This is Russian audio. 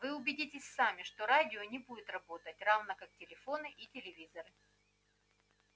вы убедитесь сами что радио не будет работать равно как телефоны и телевизоры